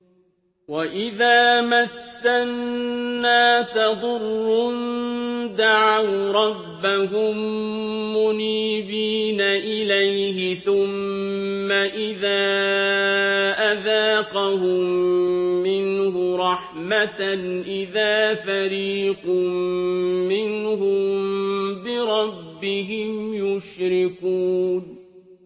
وَإِذَا مَسَّ النَّاسَ ضُرٌّ دَعَوْا رَبَّهُم مُّنِيبِينَ إِلَيْهِ ثُمَّ إِذَا أَذَاقَهُم مِّنْهُ رَحْمَةً إِذَا فَرِيقٌ مِّنْهُم بِرَبِّهِمْ يُشْرِكُونَ